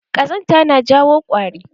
Kazanta na jawo ƙwari.